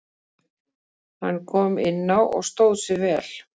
Hann kom inná og stóð sig vel.